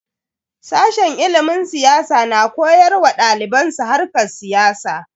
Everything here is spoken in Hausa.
Sashen ilimin siyasa na koyar wa daliban su harkar siyasa.